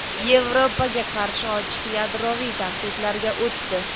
Yevropaga qarshi ochiq yadroviy tahdidlarga o‘tdi.